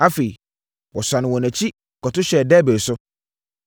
Afei, wɔsane wɔn akyi kɔto hyɛɛ Debir so.